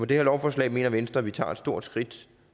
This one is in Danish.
det her lovforslag mener venstre at vi tager et stort skridt